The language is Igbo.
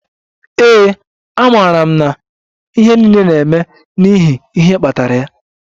Ee, amaara m na ihe niile na-eme n'ihi ihe kpatara ya.